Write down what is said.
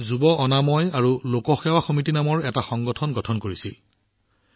তেওঁলোকে যুৱ স্বচ্ছতা ইভাম জনসেৱ সমিতি নামৰ এটা সংগঠন গঠন কৰিছিল